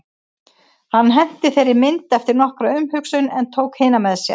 Hann henti þeirri mynd eftir nokkra umhugsun en tók hina með sér.